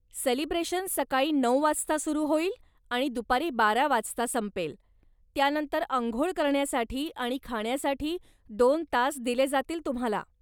Celebration सकाळी नऊ वाजता सुरु होईल आणि दुपारी बारा वाजता संपेल, त्यानंतर अंघोळ करण्यासाठी आणि खाण्यासाठी दोन तास दिले जातील तुम्हाला.